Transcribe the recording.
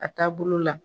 A taa bolo la